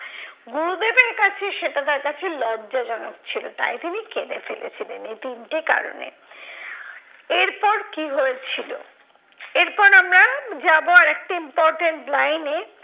গুরুদেবের কাছে সেটা তার কাছে লজ্জাজনক ছিল। তাই তিনি কেঁদে ফেলেছিলেন এই তিনটি কারণে। এরপর কি হয়েছিল, এরপর আমরা যাবো আর একটি important line এ